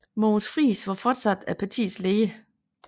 Mogens Frijs var fortsat partiets leder